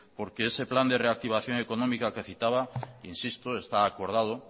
porque ese plan de reactivación económica que citaba insisto está acordado